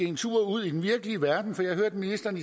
en tur ud i den virkelige verden for jeg hørte ministeren